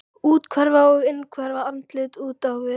Úthverfa á innhverfu, andlit út á við.